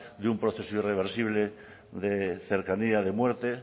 de un proceso irreversible de cercanía de muerte